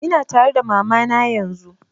Ina tare da mama na yanzun